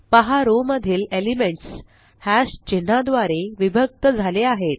पहा रो मधील elements hash चिन्हा द्वारे विभक्त झाले आहेत